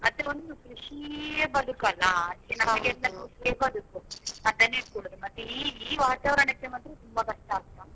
ಮತ್ತೆ ಒಂದು ಕೃಷಿಯೇ ಬದುಕಲ್ಲಾ ಅದಕ್ಕೆ ಕೃಷಿಯೆ ಬದುಕು ಅದನ್ನೆ ಕೂಡಾ ಮತ್ತೆ ಈ ಈ ವಾತಾವಾರಣಕ್ಕೆ ಮಾತ್ರ ತುಂಬ ಕಷ್ಟ ಅಂತ.